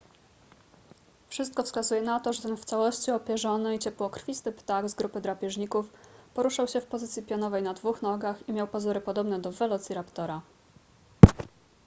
wszystko wskazuje na to że ten w całości opierzony i ciepłokrwisty ptak z grupy drapieżników poruszał się w pozycji pionowej na dwóch nogach i miał pazury podobne do welociraptora